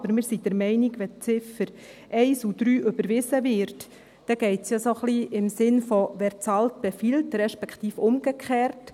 Aber wir sind der Meinung, wenn die Ziffern 1 und 3 überwiesen werden, dann geht es ja ein wenig im Sinne von «wer bezahlt, der befiehlt», respektive umgekehrt.